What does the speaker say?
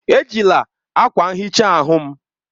Ejila akwa nhicha ahụ m!